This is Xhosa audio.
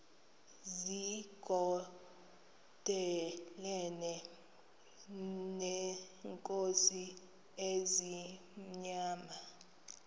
zigondelene neenkosi ezimnyama